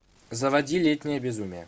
заводи летнее безумие